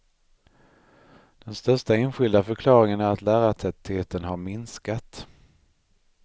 Den största enskilda förklaringen är att lärartätheten har minskat.